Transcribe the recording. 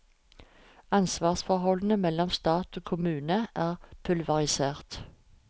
Ansvarsforholdene mellom stat og kommune er pulverisert.